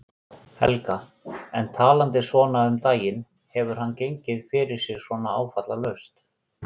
Helga: En talandi svona um daginn, hefur hann gengið fyrir sig svona áfallalaust?